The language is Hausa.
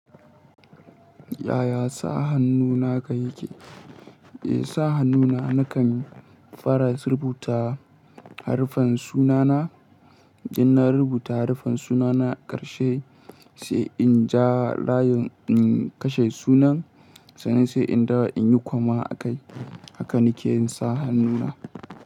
Yaya sa hannu na ka yake? Eh, sa hannu na nakan fara rubuta haruffan sunana. Idan na rubuta haruffan sunana ƙarshe sai in ja layin in kashe sunan sannan sai in dawo in yi koma akai. Haka nake yin sa hannu na.